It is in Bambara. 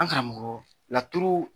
An karamɔgɔ laturu